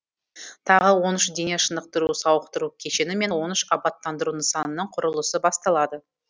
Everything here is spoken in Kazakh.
тағы он үш дене шынықтыру сауықтыру кешені мен он үш абаттандыру нысанының құрылысы басталады